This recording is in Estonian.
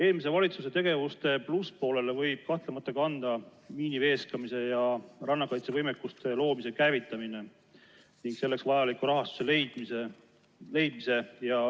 Eelmise valitsuse tegevuse plusspoolele võib kahtlemata kanda miiniveeskamise ja rannakaitsevõimekuse loomise käivitamise ning selleks vajaliku raha leidmise.